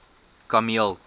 kameel